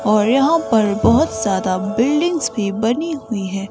और यहां पर बहुत ज्यादा बिल्डिंग्स भी बनी हुई है।